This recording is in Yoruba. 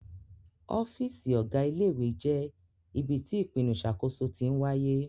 Ọ́fíìsì Ọ̀gá ilé ìwé jẹ́ ibi tí ìpinnu ìṣàkóso tí ń wáyé